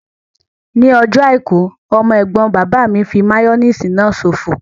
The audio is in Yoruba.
Ní ọjọ́ àìkú, ọmọ ẹ̀gbọ́n bàbá mi fí máyóníìsì náà ṣòfò